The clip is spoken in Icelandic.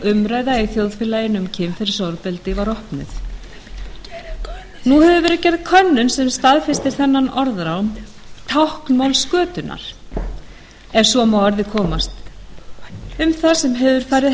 umræða í þjóðfélaginu um kynferðisofbeldi var opnuð nú hefur verið gerð könnun sem staðfestir þennan orðróm táknmáls götunnar ef svo má að orði komast um það sem hefur farið